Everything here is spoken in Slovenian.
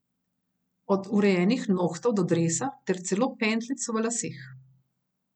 Od urejenih nohtov do dresa ter celo pentljic v laseh.